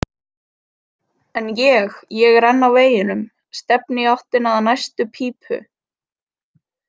En ég, ég er enn á veginum, stefni í áttina að næstu pípu.